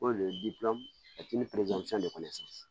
O de ye de fana ye sisan